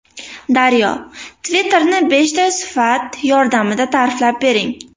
Daryo: Twitter’ni beshta sifat yordamida ta’riflab bering.